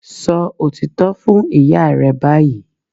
Sọ òtítọ́ fún ìyá rẹ báyìí